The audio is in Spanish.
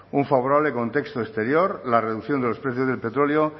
un favorable contexto exterior la reducción de los precios del petróleo